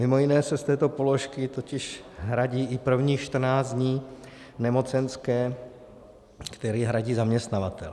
Mimo jiné se z této položky totiž hradí i prvních 14 dní nemocenské, které hradí zaměstnavatel.